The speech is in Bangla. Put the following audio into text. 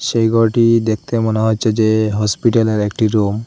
এই ঘরটি দেখতে মনে হচ্ছে যে হসপিটালের একটি রুম ।